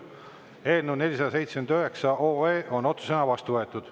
Eelnõu 479 on otsusena vastu võetud.